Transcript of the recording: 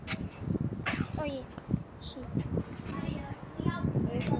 Hún glápir upp í loftið.